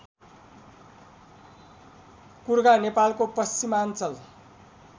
कुर्घा नेपालको पश्चिमाञ्चल